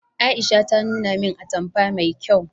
Aisha ta nuna min atamfa mai kyau